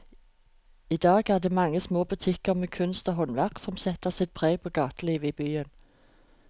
I dag er det de mange små butikkene med kunst og håndverk som setter sitt preg på gatelivet i byen.